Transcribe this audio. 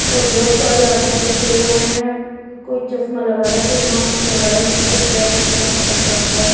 बहुत सारे आदमी बैठे हुए हैं कोई चश्मा लग रहा है कोई माक्स लग रहा है किसी का बैग टंग रखा है।